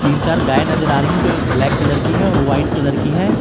तीन चार गाय नजर आ रही है जो एक ब्लैक कलर की है और वाइट कलर की है।